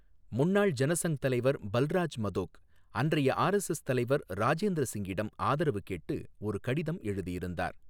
முன்னாள் ஜனசங் தலைவர் பல்ராஜ் மதோக் அன்றைய ஆர்எஸ்எஸ் தலைவர் ராஜேந்திர சிங்கிடம் ஆதரவு கேட்டு ஒரு கடிதம் எழுதியிருந்தார்.